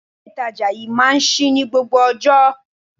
Ilé ìtajà yí máa ń ṣí ní gbogbo ọjọ́.